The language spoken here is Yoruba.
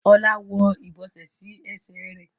Ola ń wó ibọsẹ sí Ẹsẹ̀ rẹ.